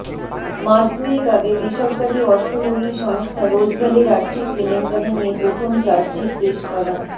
মাস দুয়েক আগে বেসরকারি অর্থ লগ্নি সংস্থা রোজভ্যালির আর্থিক কেলেঙ্কারি নিয়ে প্রথম চার্জশিট পেশ করা